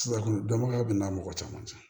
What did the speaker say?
Suraka dɔnbagaya bɛ n'a mɔgɔ cɛman cɛ